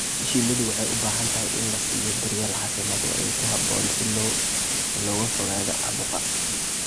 Shinnidu waxay u baahan tahay in la siiyo daryeel caafimaad oo ku habboon si looga fogaado caabuqa.